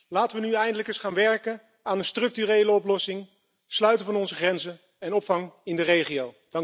Laten we nu eindelijk eens gaan werken aan een structurele oplossing sluiten van onze grenzen en opvang in de regio.